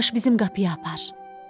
Yavaş-yavaş bizim qapıya apar.